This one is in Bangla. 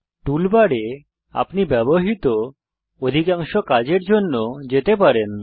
টুল বারে আপনি ব্যবহৃত অধিকাংশ কাজের জন্য যেতে পারেন